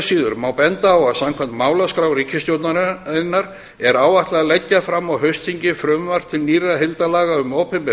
síður má benda á að samkvæmt málaskrá ríkisstjórnarinnar er áætlað að leggja fram á haustþingi frumvarp til nýrra heildarlaga um opinber